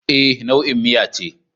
E, nau'in miya ce.